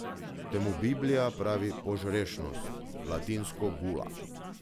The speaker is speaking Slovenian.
Temu Biblija pravi požrešnost, latinsko gula.